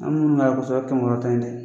An minnu kɛmɛ wɔɔrɔ ta in dɛ